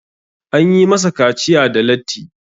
an yi masa kaciya da latti